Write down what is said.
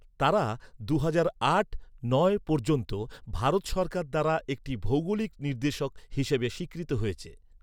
তারা দুহাজার আট নয় পর্যন্ত ভারত সরকার দ্বারা একটি ভৌগোলিক নির্দেশক হিসাবে স্বীকৃত হয়েছে।